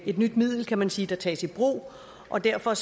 et nyt middel kan man sige der tages i brug og derfor